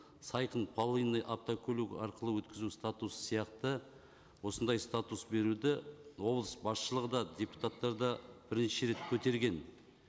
сайқын полынный автокөлік арқылы өткізу статусы сияқты осындай статус беруді облыс басшылығы да депутаттар да бірнеше рет көтерген